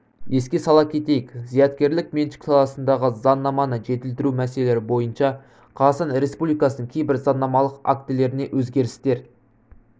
еске сала кетейік зияткерлік меншік саласындағы заңнаманы жетілдіру мәселелері бойынша қазақстан республикасының кейбір заңнамалық актілеріне өзгерістер